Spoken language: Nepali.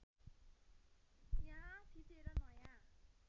यहाँ थिचेर नयाँ